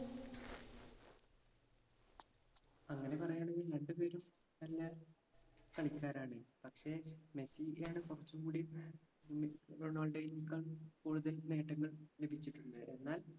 അങ്ങനെ പറയാണെങ്കിൽ രണ്ട് പേരും നല്ല കളിക്കാരാണ് പക്ഷെ മെസ്സിക്കാണ് കുറച്ചും കൂടിയും മി റൊണാൾഡൊയേക്കാൾ കൂടുതൽ നേട്ടങ്ങൾ ലഭിച്ചിട്ടുണ്ട് എന്നാൽ